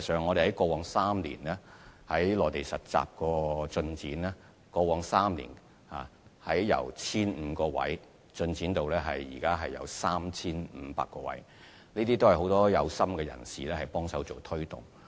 我們過往3年在內地實習方面取得進展，實習機會的數目由 1,500 個增至現時的 3,500 個，並且得到很多有心人士幫忙推動。